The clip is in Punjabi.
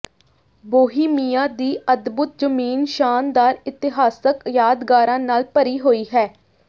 ਬੋਹੀਮੀਆ ਦੀ ਅਦਭੁਤ ਜ਼ਮੀਨ ਸ਼ਾਨਦਾਰ ਇਤਿਹਾਸਕ ਯਾਦਗਾਰਾਂ ਨਾਲ ਭਰੀ ਹੋਈ ਹੈ